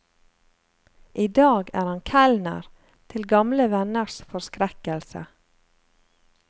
I dag er han kelner, til gamle venners forskrekkelse.